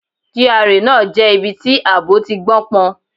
GRA náà jẹ́ ibi tí àbọ̀ ti gbó pọn.